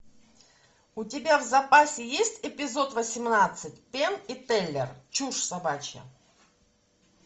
у тебя в запасе есть эпизод восемнадцать пенн и теллер чушь собачья